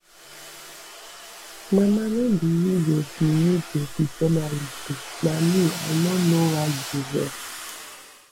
mama no be you go be you go be journalist oh na me i no know why you dey vex